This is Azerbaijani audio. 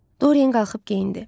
Dorien qalxıb geyindi.